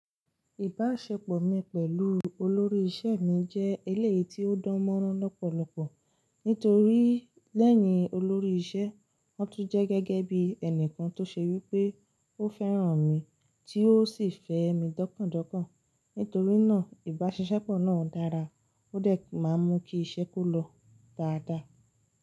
Ìbáṣepọ̀ mi pẹ̀lú olórí iṣẹ́ mi jẹ́ eléyìí tí ó dán mọ́rán lọ́pọ̀lọpọ̀. Nítorí lẹ́yìn olórí iṣẹ́, ó tún jẹ́ gẹ́gẹ́ bí ẹnìkan tó ṣe wípé ó fẹ́ràn mi tí ó sì fẹ́ mi dọ́kàn dọ́kàn. Nítorí náà ìbáṣisepọ̀ náà dára, ó dẹ̀ máa ń mú kí iṣẹ́ kó lọ dáadáa.